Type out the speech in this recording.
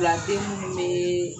Wulafin minnu meee